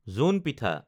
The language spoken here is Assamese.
জোন পিঠা